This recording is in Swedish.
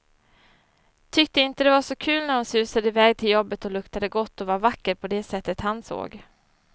Tyckte inte det var så kul när hon susade iväg till jobbet och luktade gott, och var vacker på det sättet han såg.